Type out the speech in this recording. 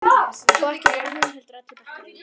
Og ekki bara hún heldur allur bekkurinn.